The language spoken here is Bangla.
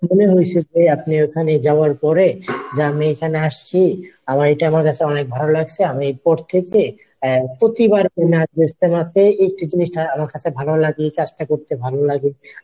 মনে হইছে যে আপনি ঐখানে যাওয়ার পরে যে আমি এখানে আসছি , আমার এটা আমার কাছে অনেক ভালো লাগছে, আমি এরপর থেকে আহ প্রতিবার আমি আসবো ইজতেমাতে এই একটি জিনিস আমার কাছে ভালো লাগছে চেষ্টা করতে ভালো লাগে।